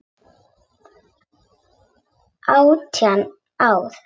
Átján ár.